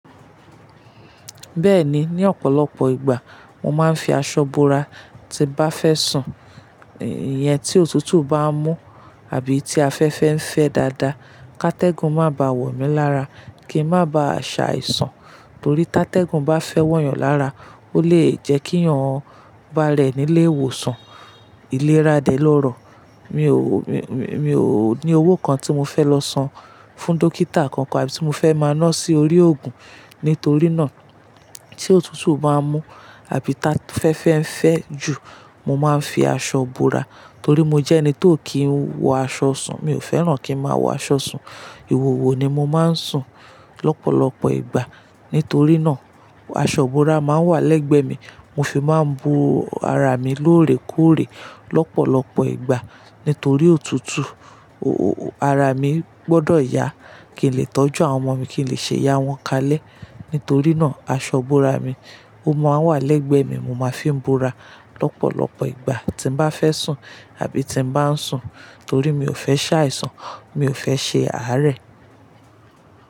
Bẹ́ẹ̀ni, ní ọ̀pọ̀lọpọ̀ ìgbà mo máa ń fi aṣọ bora tí bá fẹ́ sùn. Iyen tí òtútù bá ń mú àbí tí afẹ́fẹ́ ń fẹ́ dáadáa, ká tẹ́gùn má bá wọ̀ mí lára kí n má bá ṣáìsàn. Torí tá tẹ́gùn bá fẹ́ wọ̀ yàn lára ó lè jẹ́ kí yàn bá rẹ̀ nílé ìwòsàn ìlera dẹ lọ́rọ̀. Mi ò, mi, mi, mi ò ní owó kan tí mo fẹ́ lọ san fún dókítà kankan àbí tí mo fẹ́ máa ná sí orí ògùn. Nítorí náà tí òtútù bá ń mú àbí tá fẹ́fẹ́ ń fẹ́ jù mo máa ń fi aṣọ bora. Torí mo jẹ́ ẹni tó kì ń wọ aṣọ sùn. Mi ò fẹ́ràn kí n máa wọ aṣọ sùn. Ìwòwò ni mo máa ń sùn lọpọ̀lọpọ̀ ìgbà. Nítorí náà aṣọ búra máa ń wà lẹ́gbẹ̀ẹ́ mi. Mo fi máa ń bu ara mi lóòrèkóòrè lọpọ̀lọpọ̀ ìgbà. Nítorí òtútù o o ara mi gbọ́dọ̀ yá kí n lè tọ́jú àwọn ọmọ mi, kí n lè ṣe ìyá wọn kalẹ. Nítorí náà aṣọ búra mi ó máa ń wà lẹ́gbẹ̀ẹ́ mi. Mo máa fi ń bora lọpọ̀lọpọ̀ ìgbà tí n bá fẹ́ sùn àbí tí n bá ń sùn. Torí mi ò fẹ́ ṣáìsàn, mi ò fẹ́ ṣe àárẹ̀.